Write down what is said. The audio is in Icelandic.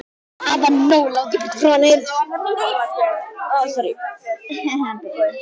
Bara hafa hann nógu langt í burtu frá henni!